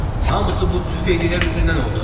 Hamısı bu tüfeylillər üzündən oldu!